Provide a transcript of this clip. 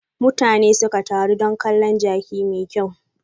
Mutane suka taro don kalon jaki mai kyau.